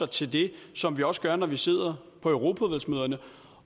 til det som vi også gør når vi sidder på europaudvalgsmøderne